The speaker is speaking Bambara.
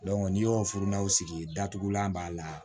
n'i y'o furudaw sigi datugulan b'a la